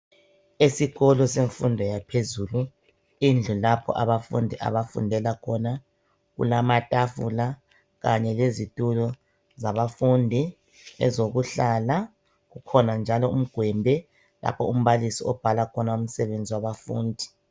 Esikolo semfundo yaphezulu, indlu lapho abafundi abafundela khona kulamatafula kanye lezitulo zabafundi ezokuhlala. Kukhona njalo umgwembe lapho umbalisi abhala khona umsebenzi wabafundi.